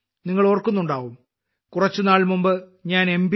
നിങ്ങൾ ഓർക്കുന്നുണ്ടാവും കുറച്ചുനാൾ മുമ്പ് ഞാൻ എം